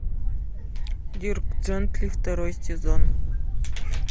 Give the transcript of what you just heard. дирк джентли второй сезон